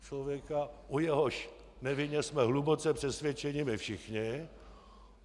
Člověka, o jehož nevině jsme hluboce přesvědčeni my všichni.